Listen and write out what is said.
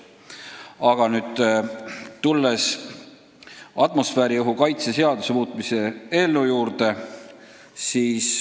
Aga nüüd tulen atmosfääriõhu kaitse seaduse muutmise seaduse eelnõu juurde.